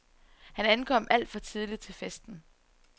Han ankom alt for tidligt til festen.